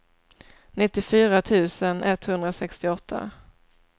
nittiofyra tusen etthundrasextioåtta